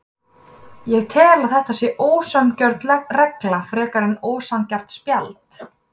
Ég tel að þetta sé ósanngjörn regla frekar en ósanngjarnt spjald.